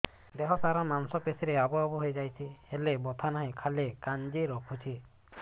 ଦେହ ସାରା ମାଂସ ପେଷି ରେ ଆବୁ ଆବୁ ହୋଇଯାଇଛି ହେଲେ ବଥା ନାହିଁ ଖାଲି କାଞ୍ଚି ରଖୁଛି